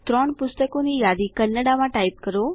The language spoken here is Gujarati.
૩ પુસ્તકોની યાદી કન્નડામાં ટાઈપ કરો